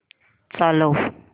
चालव